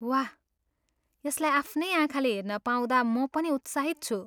वाह! यसलाई आफ्नै आँखाले हेर्न पाउँदा म पनि उत्साहित छु।